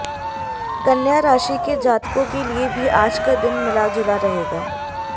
कन्या राशि के जातकों के लिए भी आज का दिन मिला जुला रहेगा